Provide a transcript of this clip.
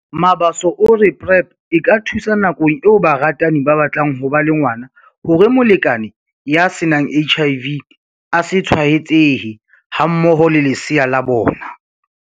Mabaso o re PrEP e ka thusa nakong eo baratani ba batlang ho ba le ngwana hore molekane ya se nang HIV a se tshwaetsehe hammoho le lesea la bona.